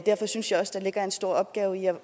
derfor synes jeg også der ligger en stor opgave i